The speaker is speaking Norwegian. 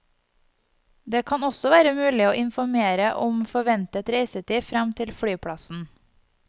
Det kan også være mulig å informere om forventet reisetid frem til flyplassen.